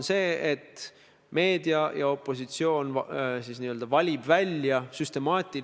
See on süüdistus, et peaminister on igal hetkel valmis riiki reetma.